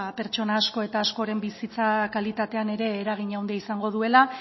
pertsona asko eta askoren bizitza kalitatean ere eragina handia izango duela